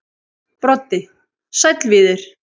Broddi: Sæll Víðir.